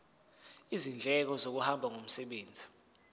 izindleko zokuhamba ngomsebenzi